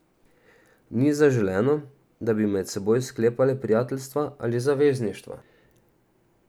Ni zaželeno, da bi med seboj sklepale prijateljstva ali zavezništva.